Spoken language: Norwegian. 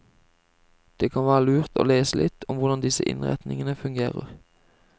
Det kan være lurt å lese litt om hvordan disse innretningene fungerer.